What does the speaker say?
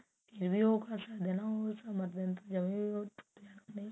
ਕਹਿੰਦੇ ਉਹ ਕਰ ਸਕਦੇ ਆ ਹਾ ਨਾ ਸਮਾ ਦੇਣ ਤੋਂ ਜਮਾ ਹੀ ਟੁੱਟ ਜਾਣਾ ਉਹਨੇ